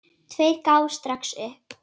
Tveir gáfust strax upp.